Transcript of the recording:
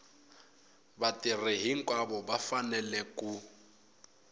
vatirhi hinkwavo va fanele ku